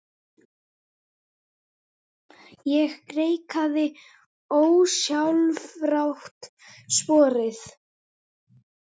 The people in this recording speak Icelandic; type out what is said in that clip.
Ég greikkaði ósjálfrátt sporið.